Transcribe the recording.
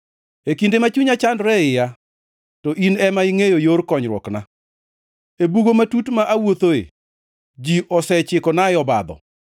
E kinde ma chunya chandore e iya, to in ema ingʼeyo yor konyruokna. E bugo matut ma awuothoe ji osechikonae obadho.